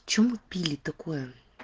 что мы пили такое